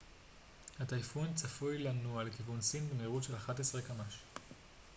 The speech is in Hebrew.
הטייפון צפוי לנוע לכיוון סין במהירות של 11 קמ ש